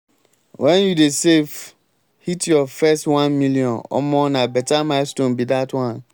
wen you dey save hit your first 1 million omo na beta milestone be dat one.